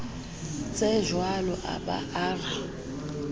tsejwalo a ba a re